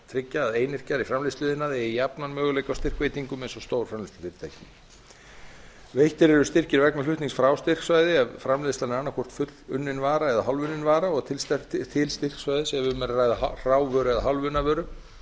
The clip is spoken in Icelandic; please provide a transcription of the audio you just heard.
að einyrkjar í framleiðsluiðnaði eigi jafna möguleika á styrkveitingum eins og stórframleiðslufyrirtækin veittir eru styrkir vegna flutnings frá styrksvæði ef framleiðslan er annaðhvort fullunnin vara eða hálfunnin vara og til styrksvæðis ef um er að ræða hrávöru eða hálfunna vöru